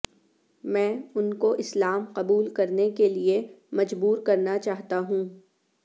میں ان کو اسلام قبول کرنے کے لئے مجبور کرنا چاہتا ہوں